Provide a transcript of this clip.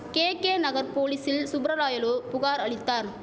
KK Nagar போலீசில் சுப்பரராயலு புகார் அளித்தார்